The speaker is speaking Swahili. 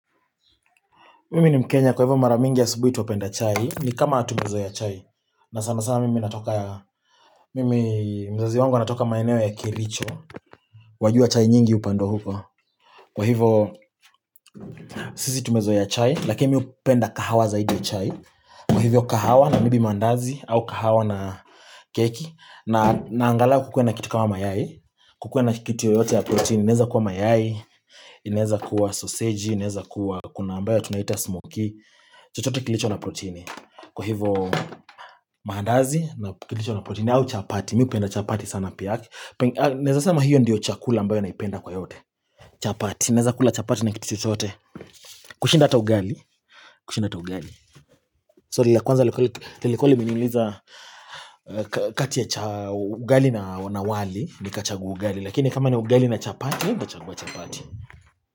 Mimi ni mkenya kwa hivo maramingi asubuhi twapenda chai ni kama tumezoea chai na sana sana mimi natoka Mimi mzazi wangu anatoka maeneo ya kericho wajua chai nyingi hupandwa huko Kwa hivyo Sisi tumezoea chai lakini mii hupenda kahawa zaidi ya chai Kwa hivyo kahawa na maybe maandazi au kahawa na keki. Na angalau kukuwe na kitu kama mayai. Kukue na kitu yoteyote ya protein. Inaeza kuwa mayai. Inaweza kuwa sausage. Inaweza kuwa kuna ambayo tunaita smoky. Chotote kilicho na protini. Kwa hivo maandazi na kilicho na protini. Au chapati. Mii hupenda chapati sana pia. Naeza sema hiyo ndiyo chakula ambayo naipenda kwa yote. Chapati naeza kula chapati na kitu chochote. Kushinda ata ugali. Kushinda ata ugali. Swali la kwanza liko likuwa limeniuliza kati ya ugali na wali Nika chagua ugali Lakini kama ni ugali na chapati Nikachagua chapati.